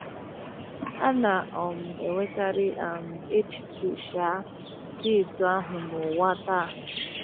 A na - um enwekarị um echiche um dị etu ahụ n’ụwa taa.